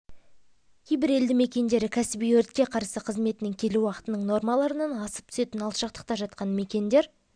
кейбір елді мекендері кәсіби өртке қарсы қызметінің келу уақытының нормаларынан асып түсетін алшақтықта жатқан мекендер